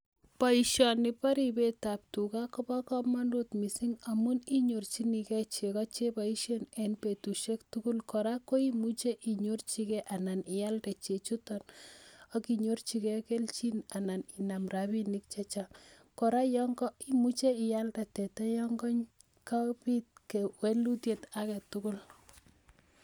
Baishoni ba ribet ab tuga Koba kamanut mising amun inyorjinigei cheko cheboishen en betusiek tugul, koraa koimuchi inyorchigei anan iyalde chechuto akinyorchigei keljin anan Inam rabinik chechang, koraa imuche iyalde teta yangapit walutiet agetugul